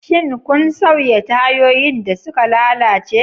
Shin kun sauya tayoyin da suka lalace?